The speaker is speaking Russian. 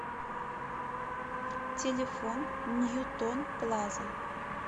телефон ньютон плаза